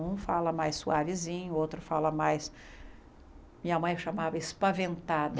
Um fala mais suavezinho, outro fala mais... Minha mãe chamava espaventada.